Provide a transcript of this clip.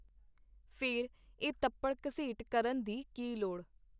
ਫੇਰ, ਇਹ ਤੱਪੜ-ਘਸੀਟ ਕਰਨ ਦੀ ਕੀ ਲੋੜ?.